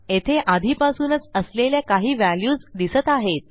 येथे आधीपासूनच असलेल्या काही व्हॅल्यूज दिसत आहेत